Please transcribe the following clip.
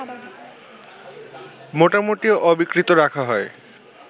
মোটামুটি অবিকৃত রাখা হয়